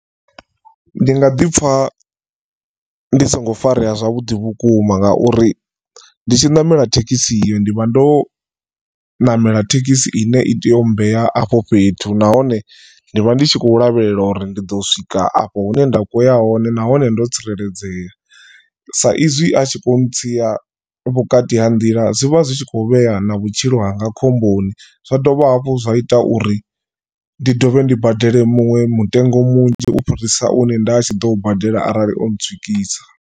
Ndi nga ḓi pfha ndi songo farea zwavhuḓi vhukuma ngauri nditshi ṋamela thekhisi iyo ndi vha ndo ṋamela thekhisi ine i tea u mmbea afho fhethu nahone ndi vha ndi tshi khou lavhelela uri ndi ḓo swika afho hune nda khoya hone nahone ndo tsireledzea. Sa izwi a tshi kho ntsia vhukati ha nḓila zwivha zwi tshi kho vhea na vhutshilo hanga khomboni zwa dovha hafhu zwa ita uri ndi dovhe ndi badele muṅwe mutengo munzhi ufhirisa une nda tshi ḓo badela arali o ntswikisa.